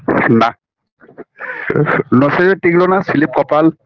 নাঃ নসিবে টিকলো না কপাল